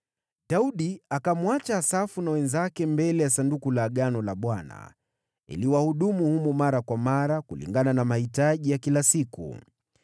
Daudi akamwacha Asafu na wenzake mbele ya Sanduku la Agano la Bwana ili wahudumu humo mara kwa mara, kulingana na mahitaji ya kila siku.